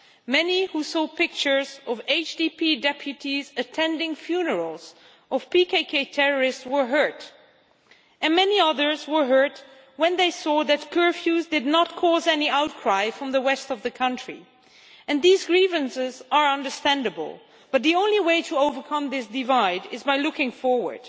Many who saw pictures of HDP deputies attending funerals of PKK terrorists were hurt, and many others were hurt when they saw that curfews did not cause any outcry from the west of the country, and these grievances are understandable, but the only way to overcome this divide is by looking forward.